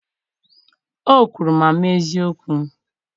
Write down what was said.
o kwuru ma mee eziokwu.